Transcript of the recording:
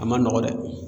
A ma nɔgɔ dɛ